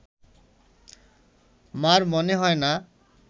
মা’র মনে হয় না